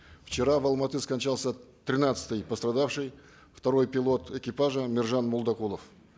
вчера в алматы скончался тринадцатый пострадавший второй пилот экипажа мержан молдагулов